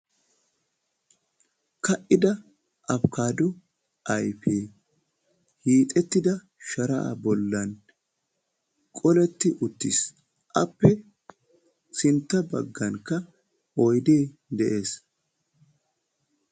Ka"ida apikaaddo ayfee hiixettida sharaa bollan qoletti uttis. Appe sintta baggankka oydee de'ees.